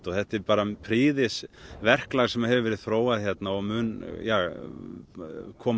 þetta er prýðis verklag sem hefur verið þróað hérna og mun koma